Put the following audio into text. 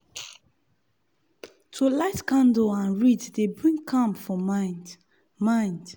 to light candle and read dey bring calm for mind. mind.